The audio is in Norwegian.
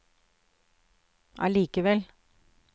allikevel